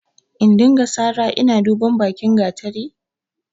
In dinga sara ina duban bakin gatari?